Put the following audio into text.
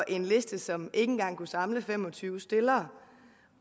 en liste som ikke engang kunne samle fem og tyve stillere